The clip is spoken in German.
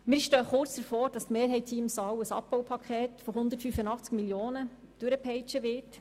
Schon bald wird die Mehrheit in diesem Saal ein Abbaupaket im Umfang von 185 Mio. Franken durchpeitschen.